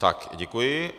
Tak děkuji.